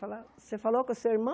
Você falou com o seu irmão?